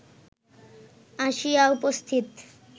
আসিয়া উপস্থিত